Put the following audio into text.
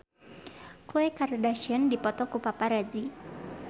Khloe Kardashian dipoto ku paparazi